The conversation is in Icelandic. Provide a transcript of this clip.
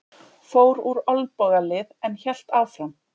Fór úr olnbogalið en hélt áfram